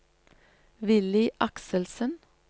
Willy Akselsen